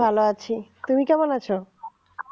ভালো আছি তুমি কেমন আছো